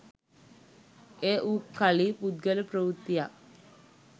එය වූ කලි පුද්ගල ප්‍රවෘත්තියක්